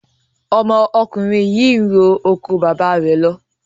Ọmọkùnrin yìí n ro oko baba rẹ̀ ló